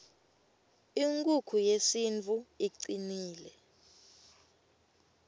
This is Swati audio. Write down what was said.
inkukhu yesintfu icnile